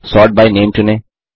sort by name चुनें